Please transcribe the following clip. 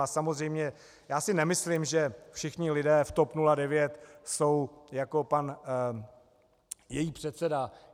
A samozřejmě já si nemyslím, že všichni lidé v TOP 09 jsou jako její pan předseda.